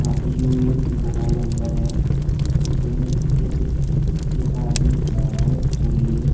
यूं एक एक घना जंगल है इसमें एक एक आदमी खड़ा हुआ है फूल लिए।